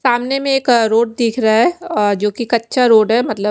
सामने में एक रोड दिख रहा है अ जोकि कच्चा रोड है मतलब--